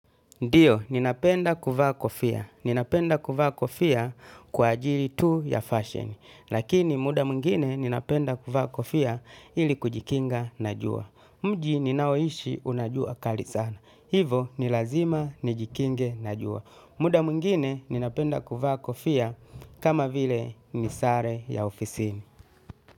Ndiyo, ninapenda kuvaa kofia. Ninapenda kuvaa kofia kwa ajili tu ya fashion. Lakini muda mwingine ninapendaa kuvaa kofia ili kujikinga na jua. Mji ninaoishi unajua kali sana. Hivo ni lazima nijikinge na jua. Muda mwingine ninapenda kuvaa kofia kama vile nisare ya ofisini.